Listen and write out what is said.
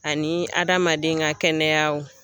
Ani hadamaden ka kɛnɛyaw.